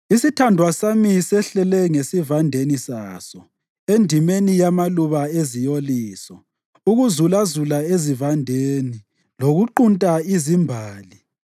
Isithandwa sami sehlele ngesivandeni saso, endimeni yamaluba eziyoliso, ukuzulazula ezivandeni lokuqunta izimbali.